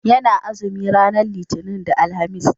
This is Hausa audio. ya na azumi ranar litani da alhamis